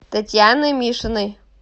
татьяны мишиной